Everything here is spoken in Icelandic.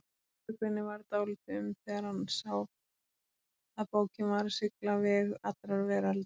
Björgvini varð dálítið um þegar hann sá að bókin var að sigla veg allrar veraldar.